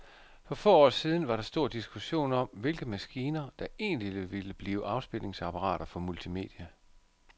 For få år siden var der stor diskussion om, hvilke maskiner, der egentlig ville blive afspilningsapparater for multimedia.